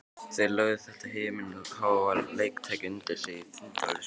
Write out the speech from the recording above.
Þeir lögðu þetta himinháa leiktæki undir sig í þindarlausum galsa.